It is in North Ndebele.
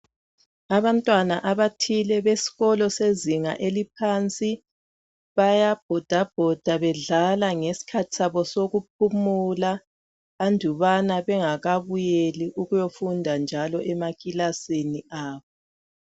Abantwana abathile beskolo sezinga eliphansi, bayabhodabhoda bedlala ngeskhathi sabo sokuphumula andubana bengakabuyeli ukuyofunda njalo emakilasini abo.